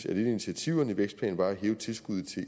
et af initiativerne i vækstplanen var at hæve tilskuddet til